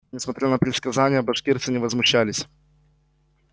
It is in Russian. несмотря на предсказания башкирцы не возмущались